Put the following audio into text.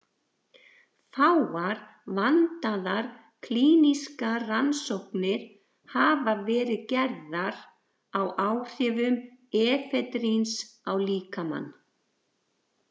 Fáar vandaðar klínískar rannsóknir hafa verið gerðar á áhrifum efedríns á líkamann.